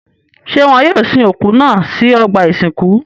Ṣé wọn yóò sin òkú náà sí ọgbà-ìsìnkú?